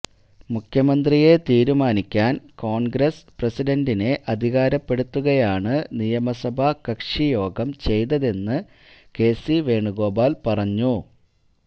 മുഖ്യമന്ത്രിയെ തീരുമാനിക്കാന് കോണ്ഗ്രസ് പ്രസിഡന്റിനെ അധികാരപ്പെടുത്തുകയാണ് നിയമസഭാ കക്ഷിയോഗം ചെയ്തതെന്ന് കെസി വേണുഗോപാല് പറഞ്ഞു